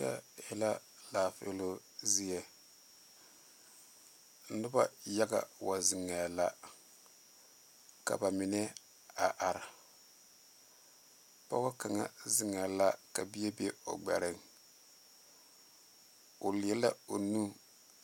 Kyɛ e la laafiilɔ zie noba yaga wa zeŋee la ka ba mine a are pɔge kaŋa zeŋee la ka bie be o gbere o leɛ la o nu